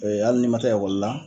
hal n'i ma taa la